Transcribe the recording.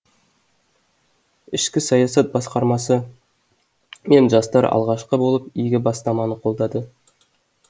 ішкі саясат басқармасы мен жастар алғашқы болып игі бастаманы қолдады